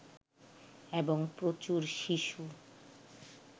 এবং প্রচুর শিশু